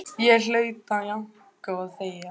Þið verðið sömu ormarnir og þið hafið alltaf verið.